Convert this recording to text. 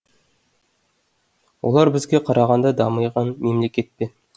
олар бізге қарағанда дамыған мемлекет пе